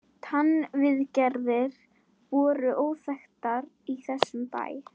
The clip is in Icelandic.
TannVIÐGERÐIR voru óþekktar í þessum bæ.